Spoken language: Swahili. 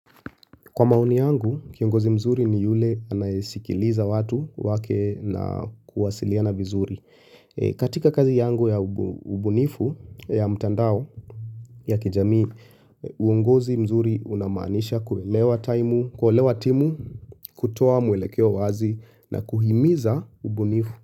Kwa maoni yangu, kiongozi mzuri ni yule anayesikiliza watu wake na kuwasiliana vizuri. Katika kazi yangu ya ubunifu ya mtandao ya kijamii, uongozi mzuri unamaanisha kuwelewa timu, kutoa mwelekeo wazi na kuhimiza ubunifu.